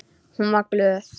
Hún var glöð.